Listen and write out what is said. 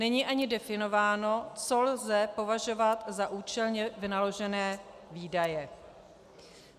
Není ani definováno, co lze považovat za účelně vynaložené výdaje.